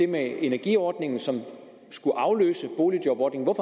man energiordningen som skulle afløse boligjobordningen